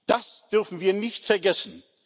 Das dürfen wir nicht vergessen.